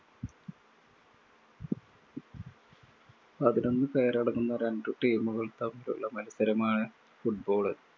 പതിനൊന്ന് പേരടങ്ങുന്ന രണ്ടു team കള്‍ തമ്മിലുള്ള മത്സരമാണ് football